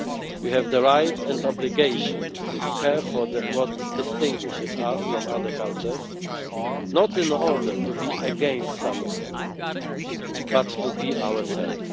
We have the right and obligation to care for what distinguishes us from other cultures not in order to be against someone, but to be ourselves.